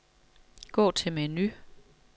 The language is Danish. Gå til menu.